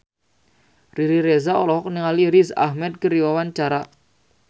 Riri Reza olohok ningali Riz Ahmed keur diwawancara